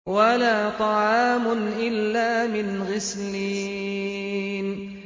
وَلَا طَعَامٌ إِلَّا مِنْ غِسْلِينٍ